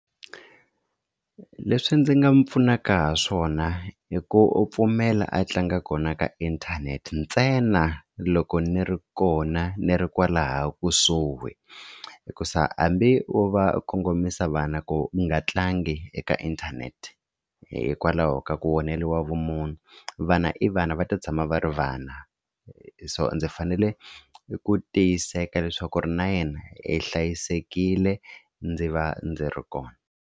Leswi ndzi nga mu pfunaka ha swona i ku pfumela a tlanga kona ka inthanete ntsena loko ni ri kona ni ri kwalaya kusuhi hikuza hambi wo va kongomisa vana ku u nga tlangi eka inthanete hikwalaho ka ku onheriwa vumunhu vana i vana va ta tshama va ri vana so ndzi fanele ku tiyiseka leswaku ri na yena hi hlayisekile ndzi va ndzi ri kona.